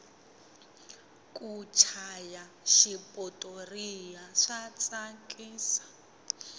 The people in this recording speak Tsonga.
ku chaya xipotoriya swa tsakisa